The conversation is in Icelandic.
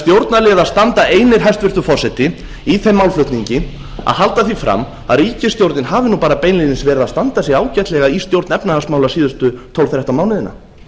stjórnarliðar standa því einir hæstvirtur forseti í þeim málflutningi að halda því fram að ríkisstjórnin hafa bara beinlínis verið að standa sig ágætlega í stjórn efnahagsmála síðustu tólf þetta mánuðina